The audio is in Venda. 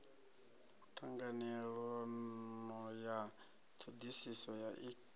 ṱhanganelano ya ṱhoḓisiso ya ik